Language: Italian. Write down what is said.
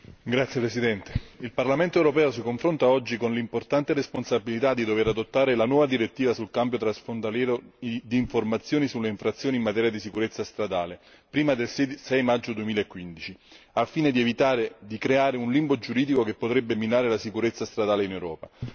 Signora Presidente, onorevoli colleghi, il Parlamento europeo si confronta oggi con l'importante responsabilità di dover adottare la nuova direttiva sullo scambio transfrontaliero di informazioni sulle infrazioni in materia di sicurezza stradale, prima del 6 maggio 2015, al fine di evitare di creare un limbo giuridico che potrebbe minare la sicurezza stradale in Europa.